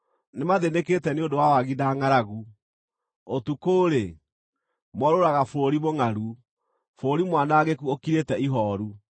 Nĩmathĩnĩkĩte nĩ ũndũ wa wagi na ngʼaragu, ũtukũ-rĩ, moorũũraga bũrũri mũngʼaru, bũrũri mwanangĩku ũkirĩte ihooru.